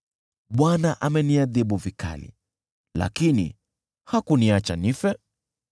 Bwana ameniadhibu vikali, lakini hakuniacha nife.